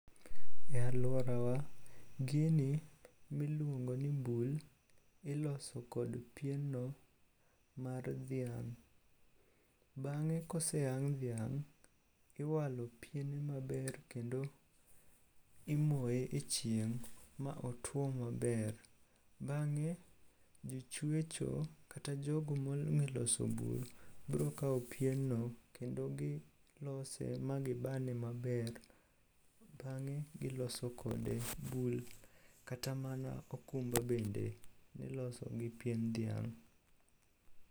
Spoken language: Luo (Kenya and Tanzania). E alworawa, gini miluongo ni bul iloso kod pienno mar dhiang'. Bang'e koseyang' dhiang' iwalo piene maber kendo imoye e chieng' ma otwo maber. Bang'e jochwecho kata jogo mong'e loso bul brokawo pienno kendo gilose magibane maber. Bang'e giloso kode bul kata mana okumba bende niloso gi pien dhiang'